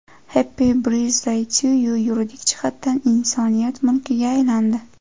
Happy Birthday to you yuridik jihatdan insoniyat mulkiga aylandi.